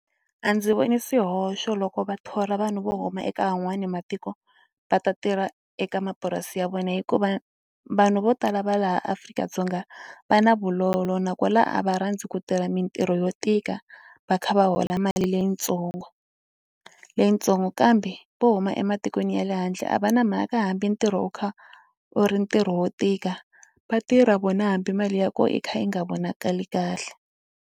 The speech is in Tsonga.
A ndzi voni swihoxo loko va thola vanhu vo huma eka van'wani matiko va ta tirha eka mapurasi ya vona hikuva vanhu vo tala va laha Afrika-Dzonga va na vulolo nakona a va rhandzi ku tirha mitirho yo tika va kha va hola mali leyitsongo, leyitsongo kambe vo huma ematikweni ya le handle a va na mhaka hambi ntirho wo kha u ri ntirho wo tika va tirha vona hambi mali ya kona yi kha yi nga vonakali kahle.